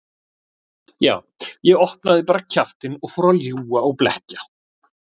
Já, ég opnaði bara kjaftinn og fór að ljúga og blekkja.